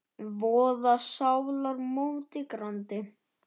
voða sálar móti grandi.